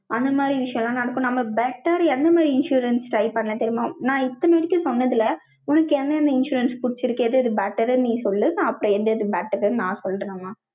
அந்த விஷயம் எல்லாம் நடக்கும். நம்ம better எந்த மாதிரி insurance try பண்ணேன் தெரியுமா? நான் இத்தனை மணிக்கு சொன்னதுல, உனக்கு என்னென்ன insurance புடிச்சிருக்கு? எது better ன்னு நீ சொல்லு. அப்புறம் எந்த இது better ன்னு நான் சொல்றேன்மா.